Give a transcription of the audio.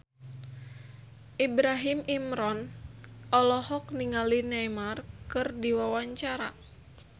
Ibrahim Imran olohok ningali Neymar keur diwawancara